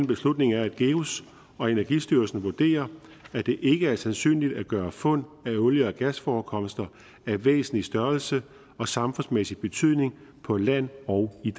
beslutning er at geus og energistyrelsen vurderer at det ikke er sandsynligt at gøre fund af olie og gasforekomster af væsentlig størrelse og samfundsmæssig betydning på land og i